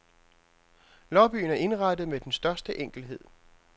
Lobbyen er indrettet med den største enkelhed.